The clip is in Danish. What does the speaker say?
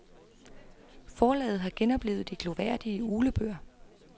Forlaget har genoplivet de glorværdige uglebøger.